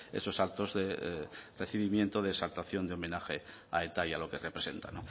esos actos de recibimiento de exaltación de homenaje a eta y a lo que representa